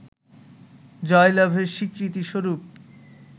জয়লাভের স্বীকৃতি স্বরূপ